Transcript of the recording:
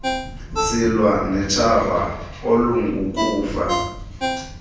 silwa notshaba olungukufa